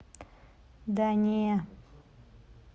да не